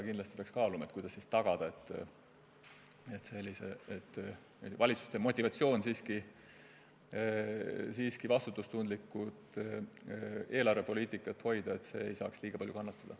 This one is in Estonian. Kindlasti peaks kaaluma, kuidas tagada, et valitsuste motivatsioon vastutustundlikku eelarvepoliitikat hoida ei saaks liiga palju kannatada.